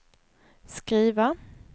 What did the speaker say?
skriva